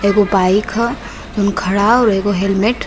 एगो बाइक ह जउन खड़ा ह और एगो हेलमेट --